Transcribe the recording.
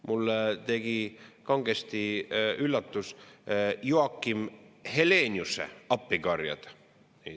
Mind üllatasid kangesti Joakim Heleniuse appikarjed.